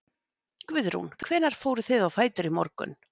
Guðrún: Hvenær fóruð þið á fætur í morgun?